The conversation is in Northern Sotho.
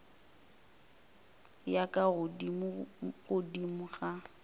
ya ka godimo godimo ga